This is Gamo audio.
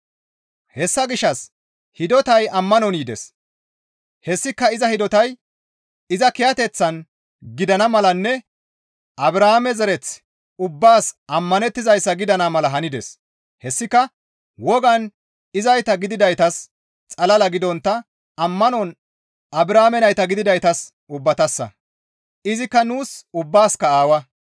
Hessa gishshas hidotay ammanon yides; hessika iza hidotay iza kiyateththan gidana malanne Abrahaame zereth ubbaas ammanettizayssa gidana mala hanides; hessika wogan izayta gididaytas xalala gidontta ammanon Abrahaame nayta gididaytas ubbatassa; izikka nuus ubbaasikka aawa.